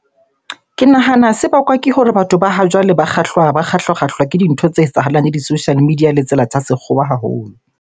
Ke nahana se bakwa ke hore batho ba ha jwale ba kgahlwa-kgahlwa ke dintho tse etsahalang le di-social media le tsela tsa sekgowa haholo.